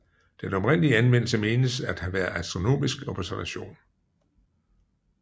Den oprindelige anvendelse menes at have været astronomisk observation